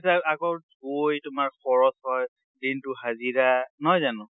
আকৌ গৈ তোমাৰ খৰচ হয়, দিনটোৰ হাজিৰা, নহয় জানো?